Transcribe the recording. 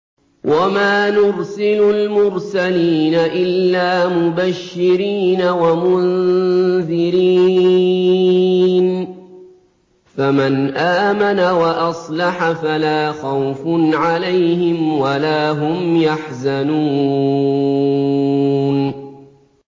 وَمَا نُرْسِلُ الْمُرْسَلِينَ إِلَّا مُبَشِّرِينَ وَمُنذِرِينَ ۖ فَمَنْ آمَنَ وَأَصْلَحَ فَلَا خَوْفٌ عَلَيْهِمْ وَلَا هُمْ يَحْزَنُونَ